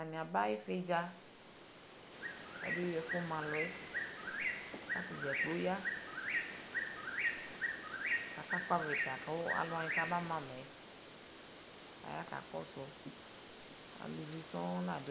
Atani aba ividƶa Kabe wi ɛƒu maluɛ katadƶakplo ɔya kaka kpɔ avita kʋ aluwani kamamayɛ Aya kakɔsu alʋvi sɔɔŋ la duɛƒɛ